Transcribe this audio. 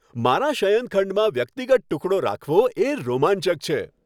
મારા શયનખંડમાં વ્યક્તિગત ટુકડો રાખવો એ રોમાંચક છે.